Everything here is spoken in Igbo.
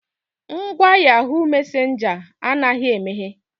Ngwa yahoo messenger anaghị emeghe.